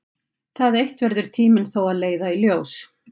Það eitt verður tíminn þó að leiða í ljós.